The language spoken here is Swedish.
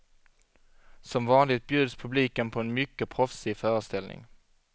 Som vanligt bjuds publiken på en mycket proffsig föreställning.